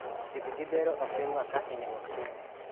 Thieth gi bero oktim ga ka inyruok tin